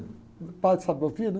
Um padre sabe ouvir, né?